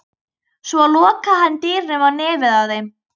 Svo lokaði hann dyrunum á nefið á þeim.